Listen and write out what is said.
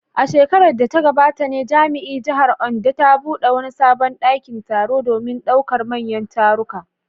A shekarar da ta gabata ne jami’ar jihar Ondo ta bude wani sabon dakin taro domin daukar manyan taruka.